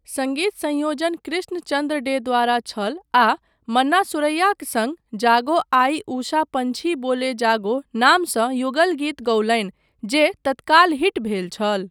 सङ्गीत संयोजन कृष्ण चन्द्र डे द्वारा छल आ मन्ना सुरैयाक सङ्ग 'जागो आई उषा पँछी बोले जागो' नामसँ युगल गीत गौलनि जे तत्काल हिट भेल छल।